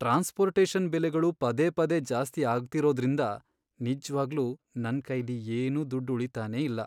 Transportation ಬೆಲೆಗಳು ಪದೇ ಪದೇ ಜಾಸ್ತಿ ಆಗ್ತಿರೋದ್ರಿಂದ ನಿಜ್ವಾಗ್ಲೂ ನನ್ಕೈಲಿ ಏನೂ ದುಡ್ಡ್ ಉಳೀತಾನೇ ಇಲ್ಲ.